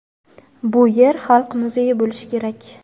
Bu yer xalq muzeyi bo‘lishi kerak.